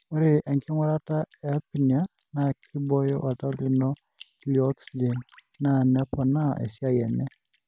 ore enkirurata e apnea na kiboyo oltau lino lioxygen na nepoona esiai enye.